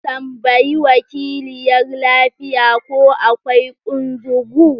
Tambayi wakiliyar lafiya ko akwai kunzugu?